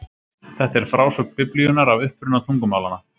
Þetta er frásögn Biblíunnar af uppruna tungumálanna.